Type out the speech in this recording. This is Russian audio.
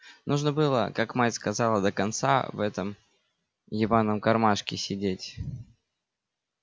нужно было как мать сказала до конца в этом ебаном кармашке сидеть